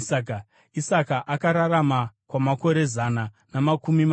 Isaka akararama kwamakore zana namakumi masere.